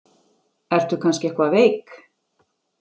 Ertu kannski eitthvað veik?